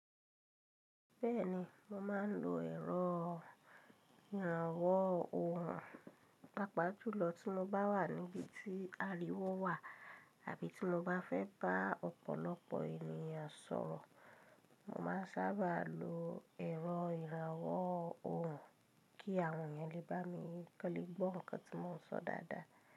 Bẹ́ẹ̀ni, mo máa ń lo ẹ̀rọ ìrànwó òhùn pàápàá jùlọ tí mo bá wà níbi tí ariwo wà tàbí tí mo bá fẹ́ bá ọ̀pọ̀lọpọ̀ ènìyàn sọ̀rọ̀. Mo máa sábà lo ẹ̀rọ ìrànwó òhùn kí àwọn ènìyàn lé bá mi kọ́né gbọ́ nǹkan tí mò ń sọ dáadáa.